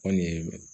Kɔni ye